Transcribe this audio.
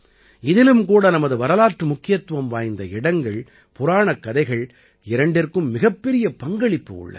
இதிலும் கூட நமது வரலாற்று முக்கியத்துவம் வாய்ந்த இடங்கள் புராணக் கதைகள் இரண்டிற்கும் மிகப்பெரிய பங்களிப்பு உள்ளது